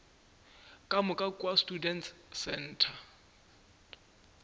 ka moka kua students centre